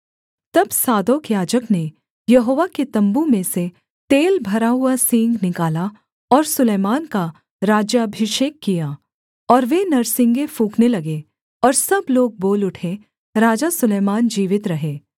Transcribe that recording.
तब सादोक याजक ने यहोवा के तम्बू में से तेल भरा हुआ सींग निकाला और सुलैमान का राज्याभिषेक किया और वे नरसिंगे फूँकने लगे और सब लोग बोल उठे राजा सुलैमान जीवित रहे